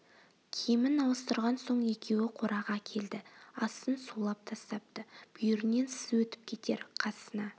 киімін ауыстырған соң екеуі қораға келді астын сулап тастапты бүйірінен сыз өтіп кетер қасына